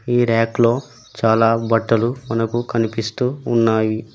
ఈ ర్యాక్ లో చాలా బట్టలు మనకు కనిపిస్తూ ఉన్నాయి.